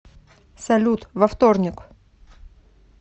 салют во вторник